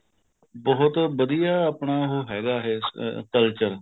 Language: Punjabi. ਬਹੁਤ ਵਧੀਆ ਆਪਣਾ ਉਹ ਹੈਗਾ ਇਹ culture